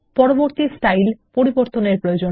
পরবর্তী style default রাখুন